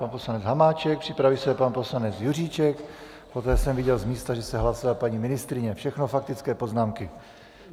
Pan poslanec Hamáček, připraví se pan poslanec Juříček, poté jsem viděl, z místa že se hlásila paní ministryně, všechno faktické poznámky.